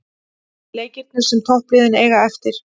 Leikirnir sem toppliðin eiga eftir